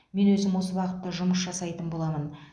мен өзім осы бағытта жұмыс жасайтын боламын